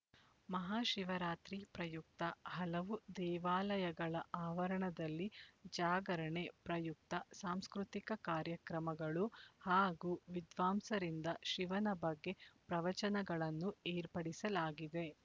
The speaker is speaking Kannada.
ಮಹಾಶಿವರಾತ್ರಿ ಪ್ರಯುಕ್ತ ಹಲವು ದೇವಾಲಯಗಳ ಆವರಣದಲ್ಲಿ ಜಾಗರಣೆ ಪ್ರಯುಕ್ತ ಸಾಂಸ್ಕೃತಿಕ ಕಾರ್ಯಕ್ರಮಗಳು ಹಾಗೂ ವಿದ್ವಾಂಸರಿಂದ ಶಿವನ ಬಗ್ಗೆ ಪ್ರವಚನಗಳನ್ನು ಏರ್ಪಡಿಸಲಾಗಿದೆ